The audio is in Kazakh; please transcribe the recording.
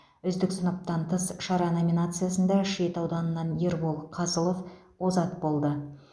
үздік сыныптан тыс шара номинациясында шет ауданынан ербол қызылов озат болды